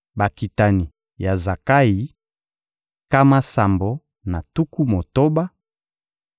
Bakitani ya Zakayi: nkama sambo na tuku motoba.